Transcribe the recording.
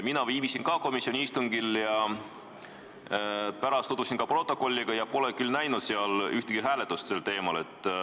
Mina viibisin ka komisjoni istungil ja pärast tutvusin protokolliga, aga pole küll näinud seal ühtegi hääletust sel teemal.